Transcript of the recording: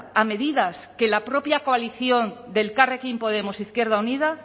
a medidas que la propia coalición de elkarrekin podemos izquierda unida